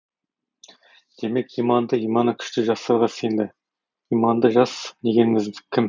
демек иманды иманы күшті жастарға сенді иманды жас дегеніміз кім